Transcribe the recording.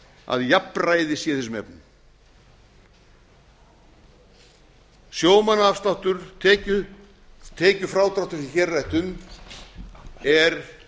að jafnræði sé í þessum efnum sjómannaafsláttur tekjufrádrátturinn sem hér er